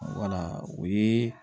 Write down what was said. Wala o ye